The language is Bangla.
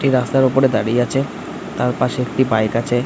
এই রাস্তার ওপরে দাঁড়িয়ে আছে তার পশে একটি বাইক আছে ।